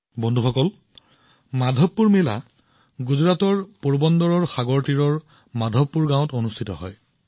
বন্ধুসকল গুজৰাটৰ পোৰবন্দৰৰ সাগৰৰ ওচৰৰ মাধৱপুৰ গাঁৱত মাধৱপুৰ মেলা অনুষ্ঠিত হয়